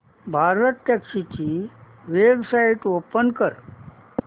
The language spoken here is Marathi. भारतटॅक्सी ची वेबसाइट ओपन कर